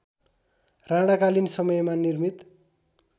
राणाकालीन समयमा निर्मित